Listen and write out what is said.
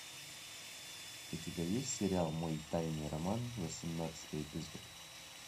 у тебя есть сериал мой тайный роман восемнадцатый эпизод